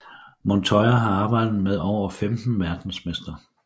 Montoya har arbejdet med over 15 verdensmestre